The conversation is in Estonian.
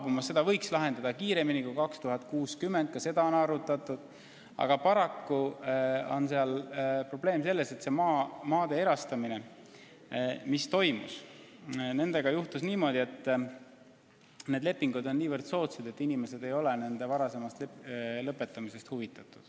Kogu küsimuse võiks lahendada kiiremini kui aastaks 2060 – ka seda on arutatud –, aga paraku on probleem selles, et toimunud maade erastamise lepingutega juhtus niimoodi, et need on nii soodsad, et inimesed ei ole nende varasemast lõpetamisest huvitatud.